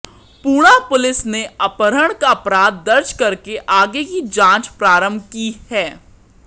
Pune police ने अपहरण का अपराध दर्ज करके आगे की जांच प्रारंभ की है